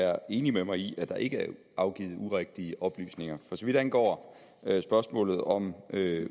er enig med mig i at der ikke er afgivet urigtige oplysninger for så vidt angår spørgsmålet om